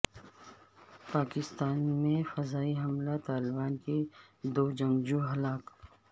افغانستان میں فضائی حملہ طالبان کے دو جنگجو ہلاک